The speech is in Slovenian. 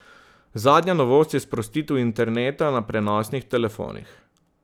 Zadnja novost je sprostitev interneta na prenosnih telefonih.